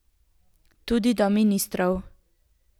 Tudi do ministrov.